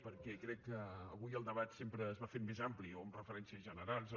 perquè crec que avui el debat sempre es va fent més ampli o amb referències generals o